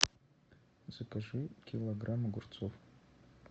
закажи килограмм огурцов